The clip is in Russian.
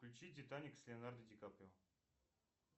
включи титаник с леонардо ди каприо